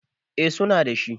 eh suna da shi